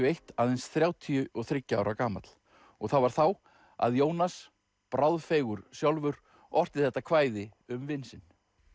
eitt aðeins þrjátíu og þriggja ára gamall og það var þá að Jónas sjálfur orti þetta kvæði um vin sinn